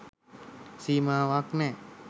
සීමාවක්‌ නෑ.